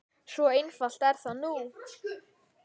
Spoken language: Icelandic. Svo einfalt er það nú.